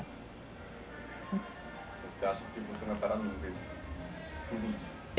Você acha que vai parar no meio?